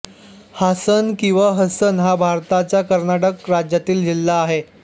हासन किंवा हसन हा भारताच्या कर्नाटक राज्यातील जिल्हा आहे